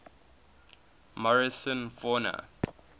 morrison fauna